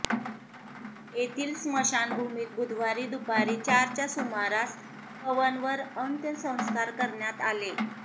येथील स्मशानभूमीत बुधवारी दुपारी चारच्या सुमारास पवनवर अंत्यसंस्कार करण्यात आले